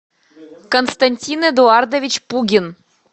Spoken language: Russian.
константин эдуардович пугин